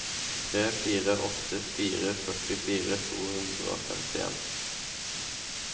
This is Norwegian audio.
tre fire åtte fire førtifire to hundre og femtien